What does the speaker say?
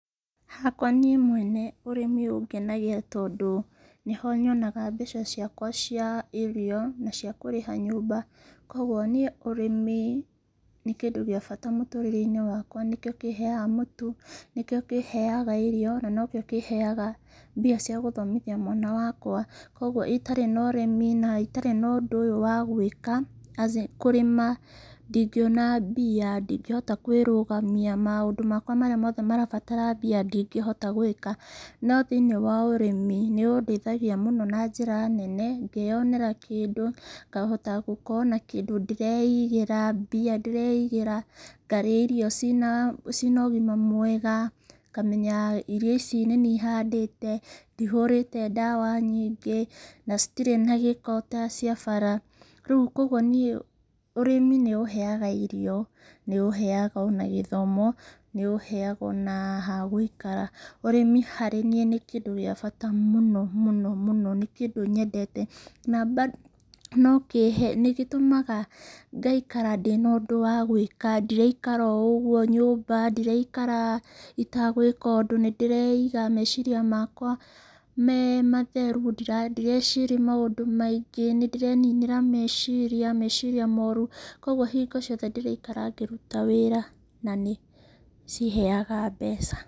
Hakwa niĩ mwene, ũrĩmi ũngenagia tondũ nĩho nyonaga mbeca ciakwa cia irio, na cia kũrĩha nyũmba, koguo niĩ ũrĩmi nĩ kĩndũ gĩa bata mũturĩreinĩ wakwa, nĩkĩo kĩheaga mũtu, nĩkĩo kĩheaga irio, na nokĩo kĩheaga mbia cia gũthomithia mwana wakwa, koguo itarĩ na ũrĩmi na itarĩ na ũndũ ũyũ wa gwĩka, kũrĩma, ndingĩona mbia, ndingĩhota kwĩrũgamia maũndũ makwa marĩa mothe marabatara mbia ndingĩhota gwĩka. No thĩinĩ wa ũrĩmi, nĩ ũndeithagia mũno na njĩra nene, kwĩyonera kĩndũ, ngahota gũkorwo na kĩndũ ndĩreigĩra, mbia ndĩreigĩra, ngarĩa irio cina cina ũgima mwega, ngamenya irio ici nĩ niĩ handĩte, ndihũrĩte ndawa nyingĩ, na citirĩ na gĩko ta cia bara, rĩũ koguo niĩ ũrĩmi nĩ ũheaga irio, nĩ ũheaga ona gĩthomo, nĩũhega ona ha gũikara, ũrĩmi harĩ niĩ nĩ kĩndũ gĩa bata mũno mũno mũno mũno, nĩ kĩndũ nyendete, na ba no kĩhe nĩgĩtũmaga ngaikara ndĩna ũndũ wa gwĩka, ndĩraikara o ũguo nyũmba, ndiraikara itagwĩka ũndũ, nĩndĩreiga meciria makwa me matheru, ndira ndireciria maũndũ maingĩ, nĩndĩreninĩra meciria, meciria moru, koguo hingo ciothe ndĩraikara ngĩruta wĩra, na nĩciheaga mbeca.